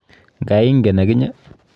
Nga ingen akinye?